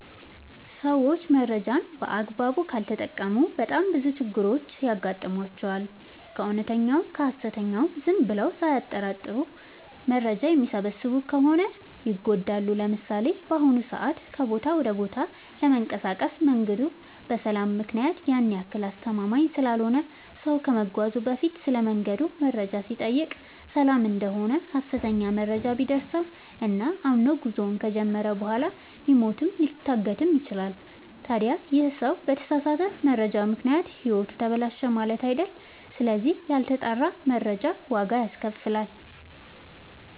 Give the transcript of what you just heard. ሰዎች መረጃን በአግባቡ ካልተጠቀሙ በጣም ብዙ ችግሮች ይገጥሟቸዋል። ከእውነተኛውም ከሀሰተኛውም ዝም ብለው ሳያጠሩ መረጃ የሚሰበስቡ ከሆነ ይጎዳሉ። ለምሳሌ፦ በአሁኑ ሰዓት ከቦታ ወደ ቦታ ለመንቀሳቀስ መንገዱ በሰላም ምክንያት ያን ያክል አስተማመምኝ ስላልሆነ ሰው ከመጓዙ በፊት ስለመንገዱ መረጃ ሲጠይቅ ሰላም እደሆነ ሀሰተኛ መረጃ ቢደርሰው እና አምኖ ጉዞውን ከጀመረ በኋላ ሊሞትም ሊታገትም ይችላል። ታዲ ይህ ሰው በተሳሳተ መረጃ ምክንያት ህይወቱ ተበላሸ ማለት አይደል ስለዚህ ያልተጣራ መረጃ ዋጋ ያስከፍላል።